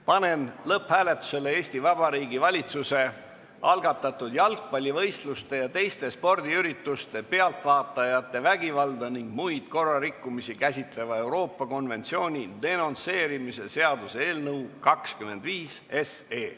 Panen lõpphääletusele Eesti Vabariigi Valitsuse algatatud jalgpallivõistluste ja teiste spordiürituste pealtvaatajate vägivalda ning muid korrarikkumisi käsitleva Euroopa konventsiooni denonsseerimise seaduse eelnõu.